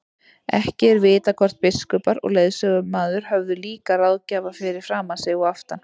Ekki er vitað hvort biskupar og lögsögumaður höfðu líka ráðgjafa fyrir framan sig og aftan.